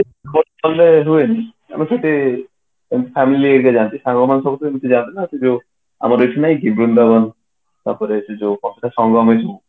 but କହିଲେ ହୁଏନି ଆମେ ସେଠି family ହେରିକା ଯାଆନ୍ତି ସାଙ୍ଗ ମାନେ ସବୁ ଏମିତି ଯାଆନ୍ତି ନା ଆମର ଏଠି ନାଇଁ କି ବୃନ୍ଦାବନ ତା ପରେ ସେ ଯୋଉ କଣ ତ